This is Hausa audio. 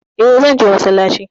Eh, zan je massalaci